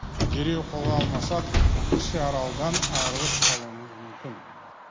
дереу қолға алмасақ кіші аралдан айырылып қалуымыз мүмкін